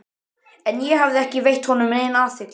En ég hafði ekki veitt honum neina athygli.